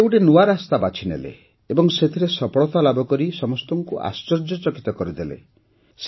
ସେ ଗୋଟିଏ ନୂଆ ରାସ୍ତାଟିଏ ବାଛିନେଲେ ଏବଂ ସେଥିରେ ସଫଳତା ଲାଭକରି ସମସ୍ତଙ୍କୁ ଆଶ୍ଚର୍ଯ୍ୟଚକିତ କରିଦେଲେ